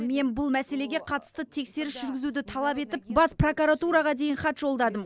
мен бұл мәселеге қатысты тексеріс жүргізуді талап етіп бас прокуратураға дейін хат жолдадым